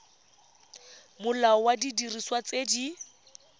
molao wa didiriswa tse di